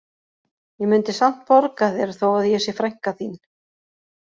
Ég mundi samt borga þér þó að ég sé frænka þín